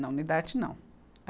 Não, no Idarte, não.